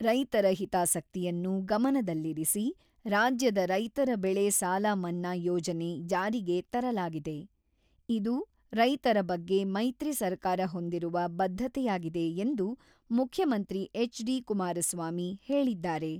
"""ರೈತರ ಹಿತಾಸಕ್ತಿಯನ್ನು ಗಮನದಲ್ಲಿರಿಸಿ ರಾಜ್ಯದ ರೈತರ ಬೆಳೆ ಸಾಲ ಮನ್ನಾ ಯೋಜನೆ ಜಾರಿಗೆ ತರಲಾಗಿದೆ ; ಇದು ರೈತರ ಬಗ್ಗೆ ಮೈತ್ರಿ ಸರ್ಕಾರ ಹೊಂದಿರುವ ಬದ್ಧತೆಯಾಗಿದೆ"" ಎಂದು ಮುಖ್ಯಮಂತ್ರಿ ಎಚ್.ಡಿ.ಕುಮಾರಸ್ವಾಮಿ ಹೇಳಿದ್ದಾರೆ."